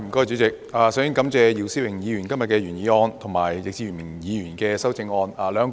主席，我首先感謝姚思榮議員今天提出原議案，以及易志明議員的修正案。